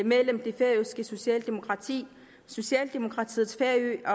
mellem det færøske socialdemokrati socialdemokratiets færø og